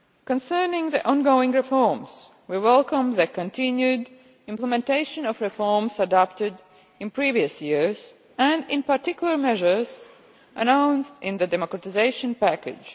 Concerning the ongoing reforms, we welcome the continued implementation of reforms adopted in previous years and, in particular, measures announced in the democratisation package.